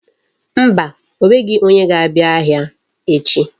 Mba, o nweghi onye ga-abia ahia echi.